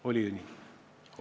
Oli ju nii?